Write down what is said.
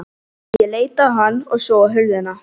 Ég leit á hann og svo á hurðina.